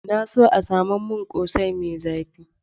Na so a samo min ƙosai mai zafi